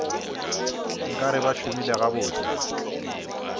nka re ba šomile gabotse